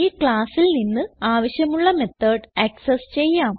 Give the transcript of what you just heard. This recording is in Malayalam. ഈ classൽ നിന്ന് ആവശ്യമുള്ള മെത്തോട് ആക്സസ് ചെയ്യാം